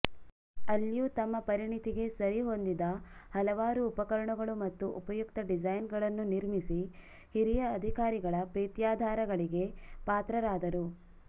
ಅಲ್ಲಿಯೂ ತಮ್ಮ ಪರಿಣಿತಿಗೆ ಸರಿಹೊಂದಿದ ಹಲವಾರು ಉಪಕರಣಗಳು ಮತ್ತು ಉಪಯುಕ್ತ ಡಿಸೈನ್ ಗಳನ್ನು ನಿರ್ಮಿಸಿ ಹಿರಿಯ ಅಧಿಕಾರಗಳ ಪ್ರೀತ್ಯಾದರಗಳಿಗೆ ಪಾತ್ರರಾದರು